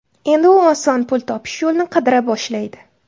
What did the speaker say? Endi u oson pul topish yo‘lini qidira boshlaydi.